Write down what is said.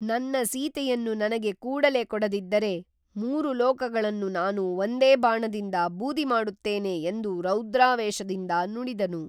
ನನ್ನ ಸೀತೆಯನ್ನು ನನಗೆ ಕೂಡಲೇ ಕೊಡದಿದ್ದರೆ ಮೂರು ಲೋಕಗಳನ್ನು ನಾನು ಒಂದೇ ಬಾಣದಿಂದ ಬೂದಿ ಮಾಡುತ್ತೇನೆ ಎಂದು ರೌದ್ರಾವೇಶದಿಂದ ನುಡಿದನು